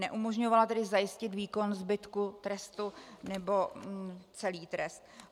Neumožńovala tedy zajistit výkon zbytku trestu nebo celý trest.